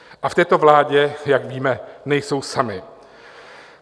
A v této vládě, jak víme, nejsou sami.